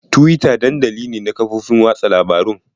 Twitter dandali ne na kafofin watsa labarun.